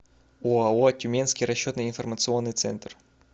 оао тюменский расчетно информационный центр